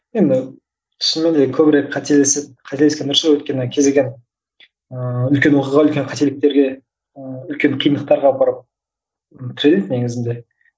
енді шынымен де көбірек қателесіп қателескен дұрыс ау өйткені кез келген ыыы үлкен оқиға үлкен қателіктерге ыыы үлкен қиындақтарға апарып тіреледі негізінде